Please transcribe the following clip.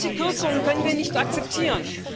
Solche Kürzungen können wir nicht akzeptieren.